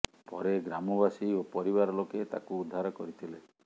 ପରେ ଗ୍ରାମବାସୀ ଓ ପରିବାର ଲୋକେ ତାକୁ ଉଦ୍ଧାର କରିଥିଲେ